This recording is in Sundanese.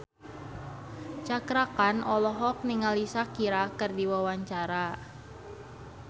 Cakra Khan olohok ningali Shakira keur diwawancara